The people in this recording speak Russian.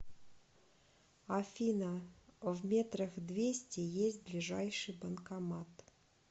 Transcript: афина в метрах двести есть ближайший банкомат